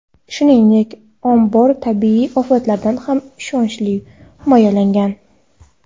Shuningdek, ombor tabiiy ofatlardan ham ishonchli himoyalangan.